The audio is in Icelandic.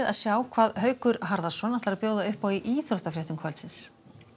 sjá hvað Haukur Harðarson býður upp á í íþróttafréttum kvöldsins